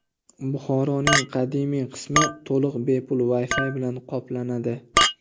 Buxoroning qadimiy qismi to‘liq bepul Wi-Fi bilan qoplanadi.